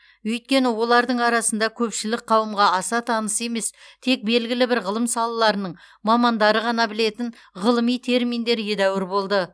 өйткені олардың арасында көпшілік қауымға аса таныс емес тек белгілі бір ғылым салаларының мамандары ғана білетін ғылыми терминдер едәуір болды